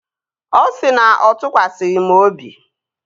Ọ sị na ọ tụkwasịghị m obi